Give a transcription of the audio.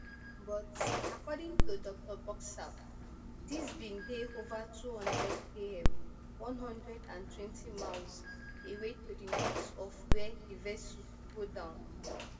but according to dr boxall dis bin dey ova two hundredkm one hundred and twenty miles away to di north of wia di vessel go down